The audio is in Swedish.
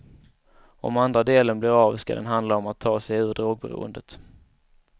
Om andra delen blir av skall den handla om att ta sig ur drogberoendet.